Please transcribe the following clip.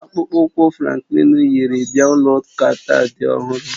Akpụkpọ ụkwụ Franklin yiri bịa ụlọ ụka taa dị ọhụrụ